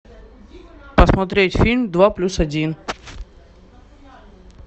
посмотреть фильм два плюс один